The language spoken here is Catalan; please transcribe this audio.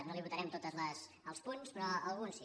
no li votarem tots els punts però algun sí